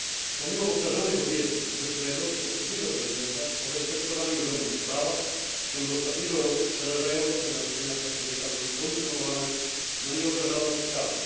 Pomimo powtarzanych obietnic obecnego i poprzedniego prezydenta o respektowaniu rządów prawa, w ciągu ostatniego roku przerażające naruszenia praw człowieka były kontynuowane na niewyobrażalną skalę.